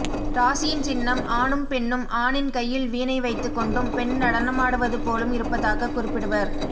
இராசியின் சின்னம் ஆணும் பெண்ணும் ஆணின் கையில்வீணை வைத்துக் கொண்டும்பெண் நடனமாடுவது போலும் இருப்பதாக்க் குறிப்பிடுவர்